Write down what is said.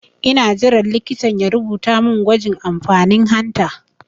Ina jiran likitan ya rubuta min gwajin amfanin hanta